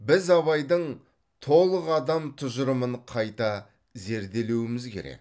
біз абайдың толық адам тұжырымын қайта зерделеуіміз керек